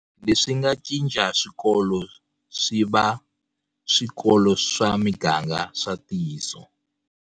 Leswi nga cinca swikolo swi va swikolo swa miganga swa ntiyiso.